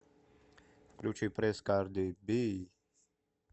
включи пресс карди би